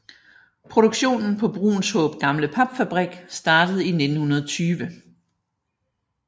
Produktionen på Bruunshaab Gamle Papfabrik startede i 1920